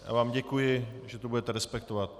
Já vám děkuji, že to budete respektovat.